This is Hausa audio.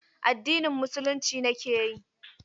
Addinin Musulunci nake yi.